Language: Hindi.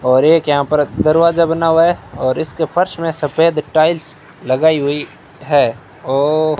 और एक यहां पर दरवाजा बना हुआ है और इसके फर्श में सफेद टाइल्स लगाई हुई है ओ --